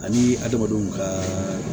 Ani adamadenw ka